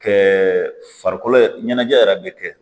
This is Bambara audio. Kɛ farikolo yɛrɛ ɲɛnajɛ yɛrɛ bɛ kɛ